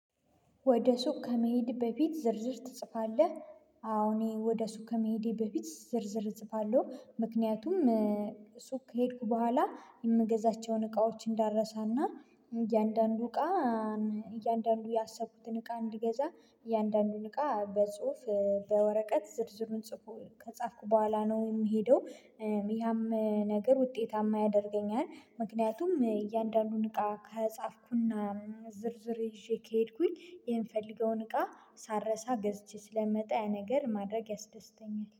ወደ? ሱቅ ከመሄድ በፊት ዝርዝር ትጽፋለህ አዎ እኔ ወደ ሱቅ ከመሄዴ በፊት ዝርዝር እጽፋለሁ ምክንያቱም ሱቅ ከሄድኩ በኋላ የምገዛቸውን እቃዎች እንዳረሳና እያንዳንዱ እቃ እያንዳንዱ ያሰብኩትን እቃ እንድገዛ እያንዳንዱን እቃ በጽሁፍ በወረቀት ዝርዝሩን ጽፎ ከጻፍኩ በኋላ ነው የምሄደው። ያም ነገር ውጤታማ ያደርገኛል ምክንያቱም እያንዳንዱን እቃ ከጻፍኩና ዝርዝር ይዤ ከሄድኩኝ የምፈለገውን እቃ ሳረሳ ገዝቼ ስለምመጣ ያ ነገር ማድረግ ያስደስተኛል